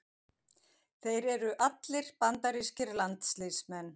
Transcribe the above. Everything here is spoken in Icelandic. Þeir eru allir bandarískir landsliðsmenn